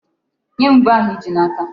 Nye m ube ahụ i ji n'aka.